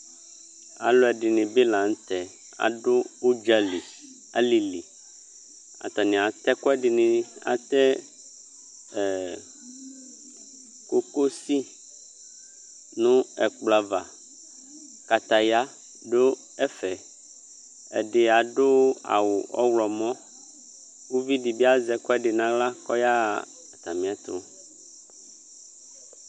Alʊ ɛdɩnɩbɩ la nʊtɛ Adʊ ʊdzali, alili Atanɩ atɛ ɛkʊ ɛdɩnɩ, atɛ kokosi nʊ ɛkplɔ ava Kataya dʊ ɛfɛ Ɛdɩ adʊ awʊ ɔwlɔmɔ Uvi ɛdɩbɩ azɛ ɛkʊɛdi kʊ ayaɣa atamɩ ɛtʊ